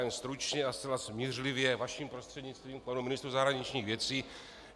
Jen stručně a zcela smířlivě vaším prostřednictvím panu ministru zahraničních věcí.